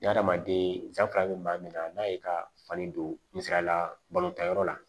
Ɲamanden janfa bɛ maa min na n'a y'i ka fani don misaliya la balontan yɔrɔ la